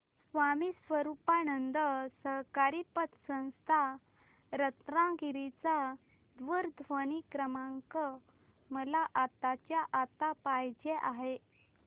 स्वामी स्वरूपानंद सहकारी पतसंस्था रत्नागिरी चा दूरध्वनी क्रमांक मला आत्ताच्या आता पाहिजे आहे